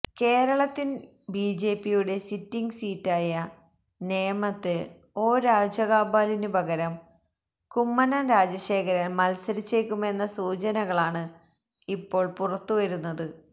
കേരളത്തിൽ ബിജെപിയുടെ സിറ്റിംഗ് സീറ്റായ നേമത്ത് ഒ രാജഗോപാലിന് പകരം കുമ്മനം രാജശേഖരൻ മത്സരിച്ചേക്കുമെന്ന സൂചനകളാണ് ഇപ്പോൾ പുറത്തുവരുന്നത്